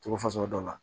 Togo fasugu dɔ la